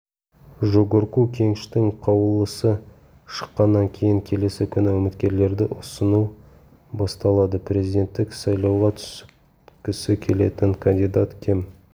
жогорку кеңештің қаулысы шыққаннан кейін келесі күні үміткерлерді ұсыну басталады президенттік сайлауға түскісі келетін кандидат кем